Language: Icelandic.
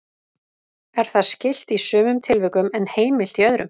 Er það skylt í sumum tilvikum en heimilt í öðrum.